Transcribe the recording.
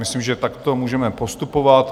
Myslím, že takto můžeme postupovat.